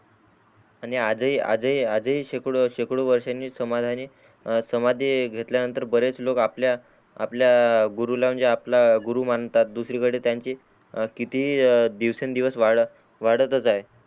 आणि आज ही आज ही शेकडो वर्षानी समाधानी समाधी घेतल्या नंतर बरेच लोक आपल्या गुरूला म्हणजे आपला गुरु मानतात दुसरी कडे त्यांचे किती ही दिवस न दिवस वाढ वाढतच आहे.